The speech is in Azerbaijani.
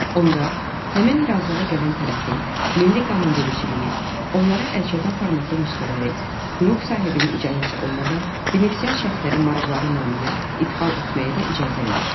onda həmin razılığa gələn tərəfin milli qanunvericiliyi onlara əlçatan formatlı nüsxələri hüquq sahibinin icazəsi olmadan benefisiar şəxslərin maraqları naminə idxal etməyə də icazə verir.